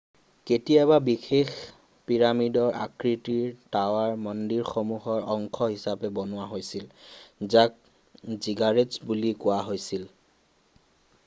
কেতিয়াবা বিশেষ পিৰামিডৰ আকৃতিৰ টাৱাৰ মন্দিৰমসূহৰ অংশ হিচাপে বনোৱা হৈছিল যাক জিগাৰেট্‌ছ বুলি কোৱা হৈছিল।